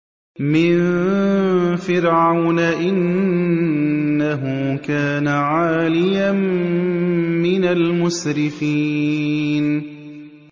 مِن فِرْعَوْنَ ۚ إِنَّهُ كَانَ عَالِيًا مِّنَ الْمُسْرِفِينَ